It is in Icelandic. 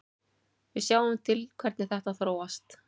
Við sjáum til hvernig þetta þróast.